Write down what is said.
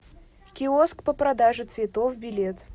киоск по продаже цветов билет